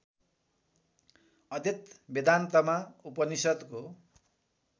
अद्वेत वेदान्तमा उपनिषद्को